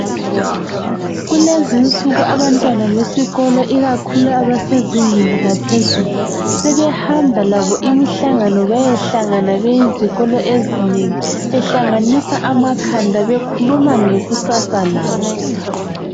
Kulezinsuku abantwana besikolo ikakhulu abasezingeni laphezulu sebehamba labo imihlangano beyehlangana beyizikolo ezinengi behlanganisa amakhanda bekhuluma ngekusasa labo.